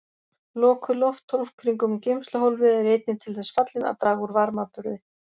Lokuð lofthólf kringum geymsluhólfið eru einnig til þess fallin að draga úr varmaburði.